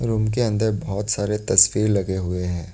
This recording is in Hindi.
रुम के अन्दर बहोत सारे तस्वीर लगे हुए हैं।